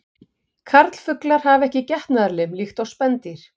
Karlfuglar hafa ekki getnaðarlim líkt og spendýr.